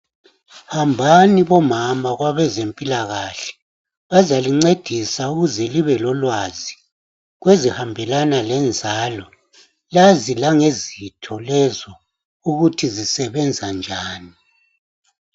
Hambani bomama kwabezempilakahle bazalincedisa ukuze libe lolwazi kwezihambelana lenzalo lazi langezitho lezo ukuthi zisebenza njan